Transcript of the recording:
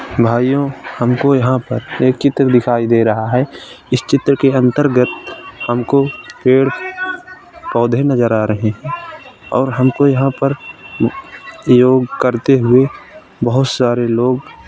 भाइयों हमको यहाँ पर एक चित्र दिखाई दे रहा है इस चित्र के अंतर्गत हमको पेड़ पौधे नज़र आ रहे हैं और हमको यहाँ पर योग करते हुए बहोत सारे लोग --